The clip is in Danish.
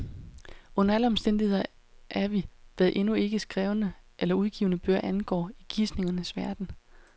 Under alle omstændigheder er vi, hvad endnu ikke skrevne eller udgivne bøger angår, i gisningernes verden.